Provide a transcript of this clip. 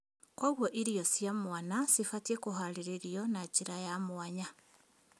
Kwoguo irio cia mwana cibatiĩ kũharĩrio na njĩra ya mwanya